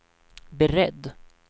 beredd